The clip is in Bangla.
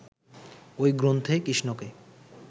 ঐ গ্রন্থে কৃষ্ণকে